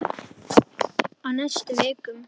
Á næstu vikum.